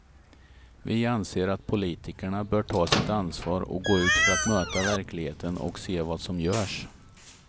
Vi anser att politikerna bör ta sitt ansvar och gå ut för att möta verkligheten och se vad som görs.